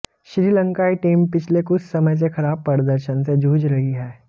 श्रीलंकाई टीम पिछले कुछ समय से खराब प्रदर्शन से जूझ रही है